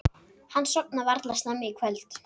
Hann sofnar varla snemma í kvöld.